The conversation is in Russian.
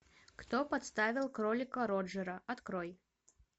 кто подставил кролика роджера открой